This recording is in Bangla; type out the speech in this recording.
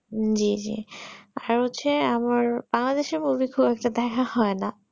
জি জি আর হচ্ছে আবার বাংলাদেশ এর movie খুব একটা ভালো হয়ে না